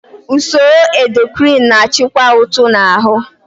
Usoro endokrin na-achịkwa uto na ahụ.